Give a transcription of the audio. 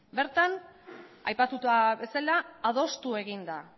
bertan aipatu bezala adostu egin da